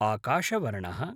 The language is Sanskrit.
आकाशवर्णः